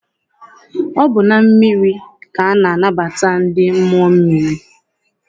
Ọ bụ na mmiri ka a na-anabata ndị mmụọ mmiri.